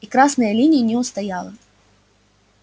и красная линия не устояла